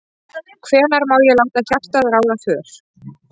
Hvenær má ég láta hjartað ráða för?